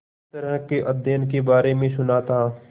इस तरह के अध्ययन के बारे में सुना था